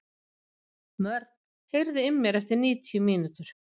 Mörk, heyrðu í mér eftir níutíu mínútur.